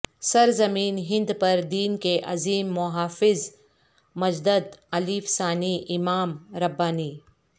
سرزمین ہند پر دین کے عظیم محافظ مجدد الف ثانی امام ربانی